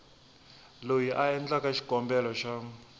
loyi a endlaku xikombelo xa